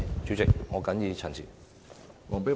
主席，我謹此陳辭。